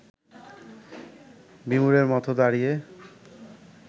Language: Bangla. বিমূঢ়ের মতো দাঁড়িয়ে